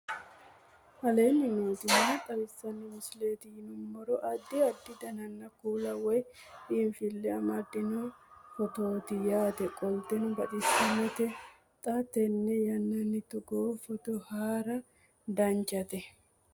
aleenni nooti maa xawisanno misileeti yinummoro addi addi dananna kuula woy biinsille amaddino footooti yaate qoltenno baxissannote xa tenne yannanni togoo footo haara danvchate